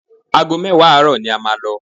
Aago mẹ́wàá àárọ̀ ni a máa lọ